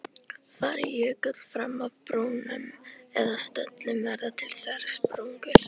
Fari jökull fram af brúnum eða stöllum, verða til þversprungur.